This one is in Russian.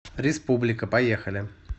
республика поехали